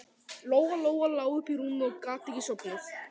Lóa-Lóa lá uppi í rúmi og gat ekki sofnað.